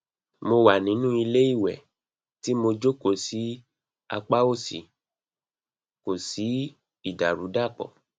mo wà nínú ilé ìwẹ tí mo jókòó sí apá òsì kò sí ìdàrúdàpọ